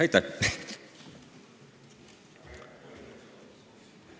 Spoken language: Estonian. Aitäh!